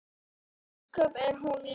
Ósköp er hún lítil.